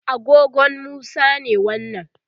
agogon Musa ne wannan